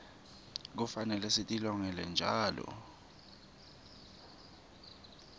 kufanele sitilolonge njalo